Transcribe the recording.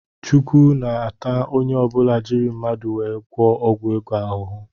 chukwu ns-ata ọnye ọbula jírí mmadụ wee gwụo ọgwụ ego ahụhụ.